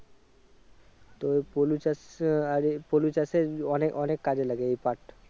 তো পলু চাষ আহ এর পলু চাষের অনেক অনেক কাজে লাগে এই পাট।